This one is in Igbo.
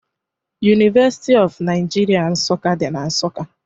University of Nigeria Nsukka dị na Nsukka